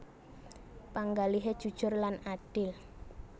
Panggalihé jujur lan adil